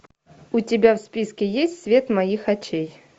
у тебя в списке есть свет моих очей